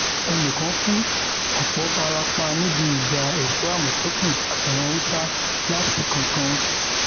ẹnì kan kú ọpọ fara pa níbi ìjà èso àmọtẹkùn àtàwọn haúsá latìkankan